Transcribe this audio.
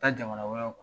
Taa jamana wɛrɛw kan